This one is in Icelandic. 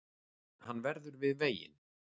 Hann verður við veginn